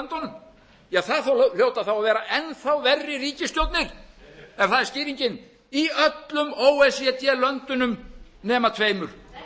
það hljóta þá að vera enn þá verri ríkisstjórnir ef það er skýringin í öllum o e c d löndunum nema tveimur